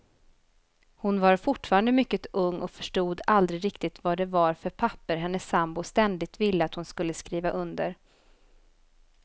Hon var fortfarande mycket ung och förstod aldrig riktigt vad det var för papper hennes sambo ständigt ville att hon skulle skriva under.